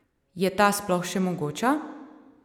Je ta sploh še mogoča?